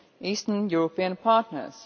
Eastern European partners.